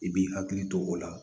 I b'i hakili to o la